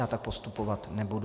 Já tak postupovat nebudu.